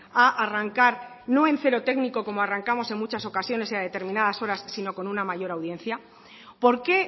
a arrancar no en cero técnico como arrancamos en muchas ocasiones y a determinadas horas sino con una mayor audiencia por qué